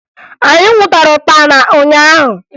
Anyị nwụtara ụkpana ụnyaahụ